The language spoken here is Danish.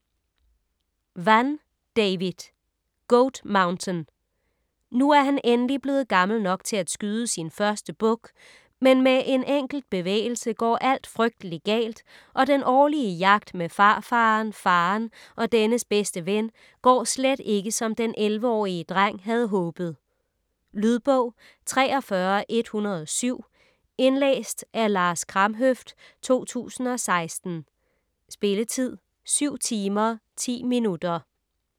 Vann, David: Goat Mountain Nu er han endelig blevet gammel nok til at skyde sin første buk, men med en enkelt bevægelse går alt frygtelig galt, og den årlige jagt med farfaren, faren og dennes bedste ven går slet ikke, som den 11-årige dreng havde håbet. Lydbog 43107 Indlæst af Lars Kramhøft, 2016. Spilletid: 7 timer, 10 minutter.